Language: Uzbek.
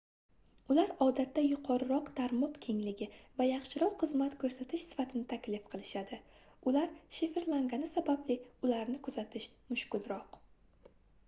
ular odatda yuqoriroq tarmoq kengligi va yaxshiroq xizmat koʻrsatish sifatini taklif qilishadi ular shifrlangani sababli ularni kuzatish mushkulroq